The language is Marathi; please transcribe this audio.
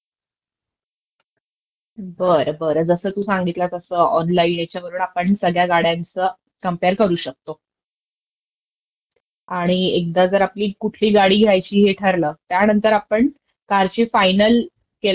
केलं ..म्हणजे आपल्या कार फायनल झाल्यानंतर म्हणजे आपणं डीलरची माहिती घेणं महत्त्वाची असतं, तेवढं मी आता रीसर्च केलं त्यावरनं मला कळंल, का ज्यांच प्रोफाइल चांगलं आहे, अश्याचं डीलर्सची आपणं निवडं करायला हवी असं ह्याच्यात आलं निदर्शनास आलं, कारणं चांगल्या डीलर्सचं